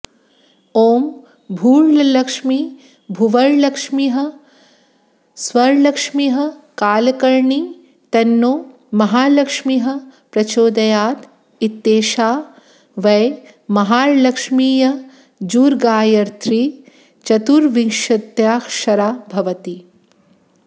ॐ भूर्लक्ष्मीर्भुवर्लक्ष्मीः स्वर्लक्ष्मीः कालकर्णी तन्नो महालक्ष्मीः प्रचोदयात् इत्येषा वै महालक्ष्मीर्यजुर्गायत्री चतुर्विंशत्यक्षरा भवति